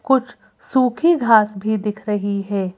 कुछ सूखी घास भी दिख रही है।